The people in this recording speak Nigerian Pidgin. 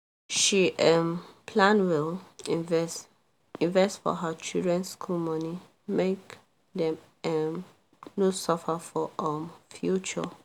she um plan well invest invest for her children school money make dem um no suffer for um future